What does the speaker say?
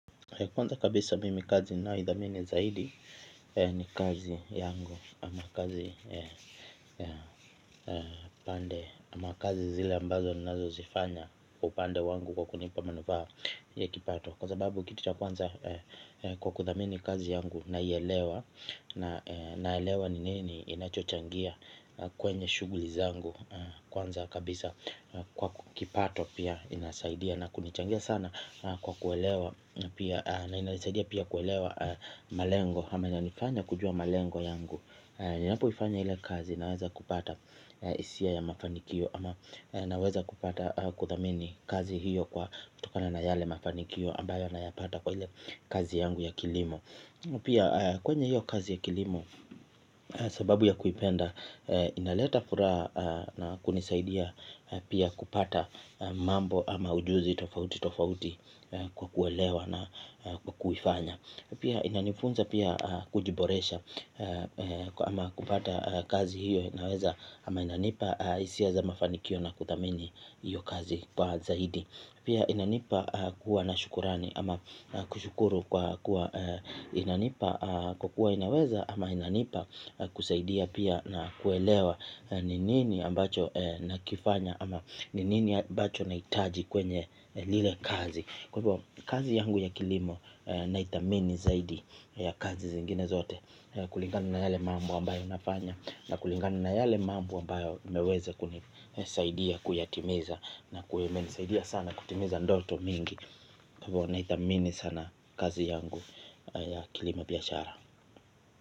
Kwanza kabisa mimi kazi nayoidhamini zaidi ni kazi yangu ama kazi pande ama kazi zile ambazo nazo zifanya upande wangu kwa kunipa manufa ya kipato. Kwa sababu kitu cha kwanza kwa kudhamini kazi yangu na yelewa na yelewa ni nini inacho changia kwenye shugulizangu. Kwanza kabisa kwa kipato pia inasaidia na kunichangia sana kwa kuelewa. Na inasaidia pia kuelewa malengo. Hama ina nifanya kujua malengo yangu. Ninapu ifanya hile kazi naweza kupata isia ya mafanikio. Ama naweza kupata kuthamini kazi hiyo kwa tokana na yale mafanikio ambayo nayapata kwa hile kazi yangu ya kilimo. Pia kwenye hiyo kazi ya kilimo sababu ya kuipendi inaleta furaha na kunisaidia kupata mambo au ujuzi tofauti tofauti kwa kwelewa ama kwa kuifanya na pia inanifunza kujiboresha ama kupata kazi hiyo inaweza ama inanipa isiaza mafanikio na kutamini hiyo kazi kwa zaidi. Pia inanipa kuwa na shukurani ama kushukuru kwa inanipa kukua inaweza ama inanipa kusaidia pia na kuelewa ninini ambacho nakifanya ama ninini ambacho naitaji kwenye lile kazi. Kwa hivyo kazi yangu ya kilimo na itamini zaidi ya kazi zingine zote. Kulingani na yale mambo ambayo nafanya. Na kulingani na yale mambo ambayo imeweza kunisaidia kuyatimiza. Na kuemeni saidia sana kutimiza ndoto mingi. Kwa hivyo na itamini sana kazi yangu ya kilimo biyashara.